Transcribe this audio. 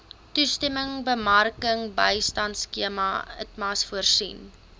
toerismebemarkingbystandskema itmas voorsien